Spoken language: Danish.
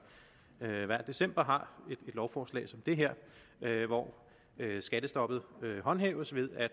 hver december har et lovforslag som det her hvor skattestoppet håndhæves ved at